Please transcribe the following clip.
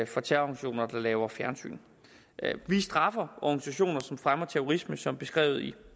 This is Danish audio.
for terrororganisationer der laver fjernsyn vi straffer organisationer som fremmer terrorisme som beskrevet i